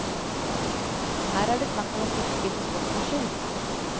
Her er det snakk om fiske for sportens skyld.